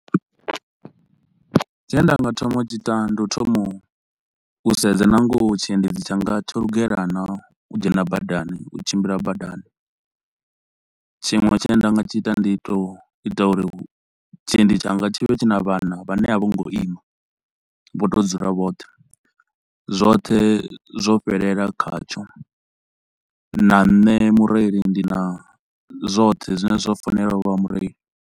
Tshine nda nga thoma u tshi ita ndi u thoma u sedza na ngoho tshiendedzi tshanga tsho lugela naa u dzhena badani, u tshimbila badani. Tshiṅwe tshine nda nga tshi ita ndi u to ita uri u tshiendi tshanga tshi vhe tshi na vhana vhane a vho ngo ima, vho tou dzula vhoṱhe, zwothe zwo fhelela khatsho na nṋe mureili ndi na zwoṱhe zwine zwo fanela uvha mureili.